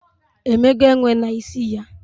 Emego enwe na isi ya?